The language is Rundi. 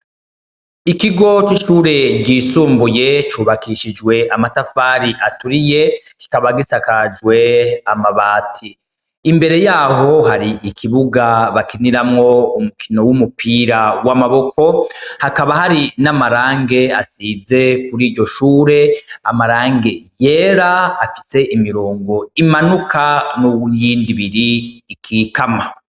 Ikigo k'ishure ryisumbuye cubakishijwe amatafari aturiye kikaba gisakajwe amabati imbere yaho hari ikibuga bakiniramwo umukino w'umupira w'amaboko hakaba hari n'amarange asize kuri iryo shure amarange yera afise imirongo imanuka n'uwuyindi ibiri ikikama.